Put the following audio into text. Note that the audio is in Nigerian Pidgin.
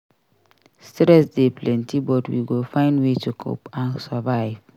Stress dey plenty but we go find way to cope and survive.